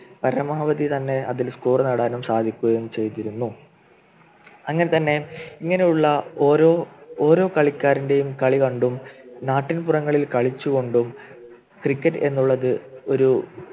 പരമാവധി തന്നെ അതിൽ Score നേടാനും സാധിക്കുകയും ചെയ്തിരുന്നു അങ്ങനെ തന്നെ ഇങ്ങനെയുള്ള ഓരോ ഓരോ കളിക്കാരൻ്റെയും കളികണ്ടും നാട്ടിൻപുറങ്ങളിൽ കളിച്ചുകൊണ്ടും Cricket എന്നുള്ളത് ഒരു